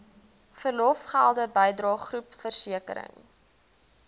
verlofgelde bydrae groepversekering